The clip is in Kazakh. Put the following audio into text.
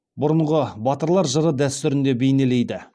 бұрынғы батырлар жыры дәстүрінде бейнелейді